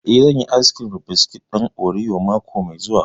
Eh, zan yi ayis kirim da biskit ɗin oriyo mako mai zuwa